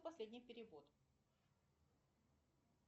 последний перевод